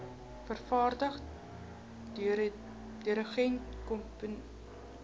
vervaardiger dirigent komponis